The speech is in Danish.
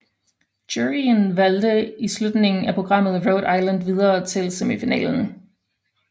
Juryen valgte i slutningen af programmet Rhode Island videre til semifinalen